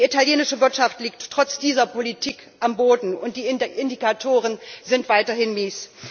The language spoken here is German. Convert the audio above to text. Die italienische Wirtschaft liegt trotz dieser Politik am Boden, und die Indikatoren sind weiterhin mies.